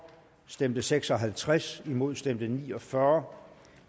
stemte seks og halvtreds imod stemte ni og fyrre